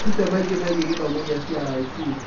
Wĩrute maingĩ megiĩ gĩthomo gĩa CRIC